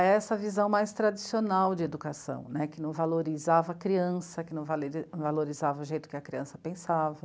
A essa visão mais tradicional de educação, né? Que não valorizava a criança, que não valorizava o jeito que a criança pensava.